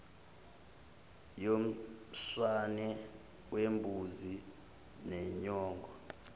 yomswane wembuzi nenyongo